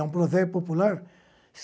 É um provérbio popular.